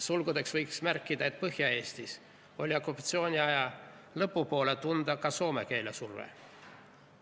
Sulgudes võiks märkida, et Põhja-Eestis oli okupatsiooniaja lõpu poole tunda ka soome keele mõju.